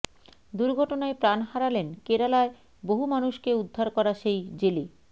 দুর্ঘটনায় প্রাণ হারালেন কেরালায় বহু মানুষকে উদ্ধার করা সেই জেলে